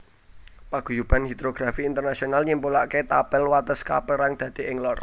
Paguyuban Hidrografi Internasional nyimpulake tapel wates kaperang dadi Ing Lor